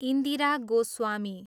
Indira Goswami